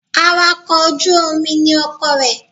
Awakọ̀ ojú Omi ni ọkọ rẹ